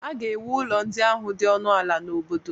A ga-ewu ụlọ ndị ahụ dị ọnụ ala n'obodo.